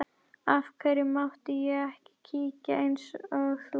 Af hverju mátti ég ekki kíkja eins og þú?